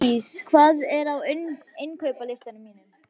Magndís, hvað er á innkaupalistanum mínum?